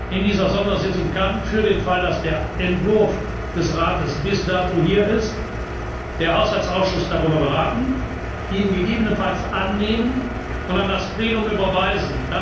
Abend. In dieser Sondersitzung kann, für den Fall, dass der Entwurf des Rates bis dato hier ist, der Haushaltsausschuss darüber beraten, ihn gegebenenfalls annehmen, und an das Plenum überweisen.